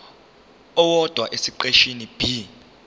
owodwa esiqeshini b